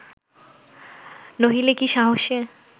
নহিলে কি সাহসে